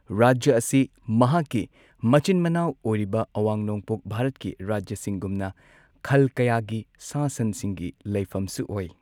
ꯔꯥꯖ꯭ꯌ ꯑꯁꯤ ꯃꯍꯥꯛꯀꯤ ꯃꯆꯤꯟ ꯃꯅꯥꯎ ꯑꯣꯏꯔꯤꯕ ꯑꯋꯥꯡ ꯅꯣꯡꯄꯣꯛ ꯚꯥꯔꯠꯀꯤ ꯔꯥꯖ꯭ꯌꯁꯤꯡꯒꯨꯝꯅ ꯈꯜ ꯀꯌꯥꯒꯤ ꯁꯥ ꯁꯟꯁꯤꯡꯒꯤ ꯂꯩꯐꯝꯁꯨ ꯑꯣꯢ꯫